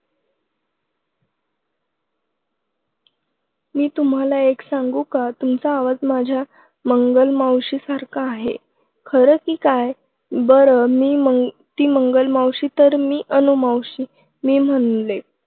मी तुम्हांला एक सांगू का तुमचा आवाज माझ्या मंगलमावशी सारखा आहे खरं की काय बरं मी मंग ती मंगलमावशी तर मी अनुमावशी मी म्हणाले.